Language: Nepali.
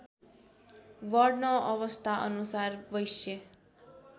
वर्ण अवस्थाअनुसार वैश्य